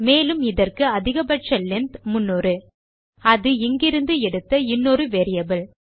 மேலும் இதற்கு அதிகபட்ச லெங்த் 300 அது இங்கிருந்து எடுத்த இன்னொரு வேரியபிள்